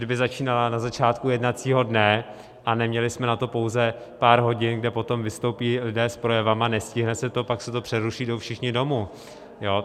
kdyby začínala na začátku jednacího dne a neměli jsme na to pouze pár hodin, kde potom vystoupí lidé s projevy, nestihne se to, pak se to přeruší, jdou všichni domů.